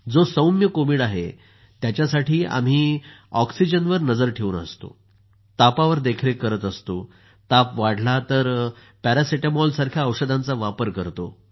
जो सौम्य कोविड आहेत्यासाठी आम्ही ऑक्सिजनवर नजर ठेवून असतो तापावर देखरेख करत असतो आणि ताप वाढला तर पॅरासिटॅमॉलसारख्या औषधाचा वापर करतो